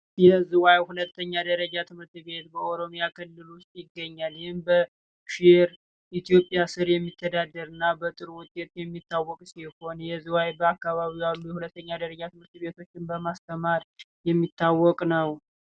የዝዋይ ሁለተኛ ደረጃ ትምህርት ቤት በኦሮሚያ ክልል ይገኛል ኢትዮጵያ የሚተዳደርና በጥር ወንጌል የሚታወቁ የዝዋይ አካባቢ ሁለተኛ ደረጃ ማስተማር የሚታወቅ ነው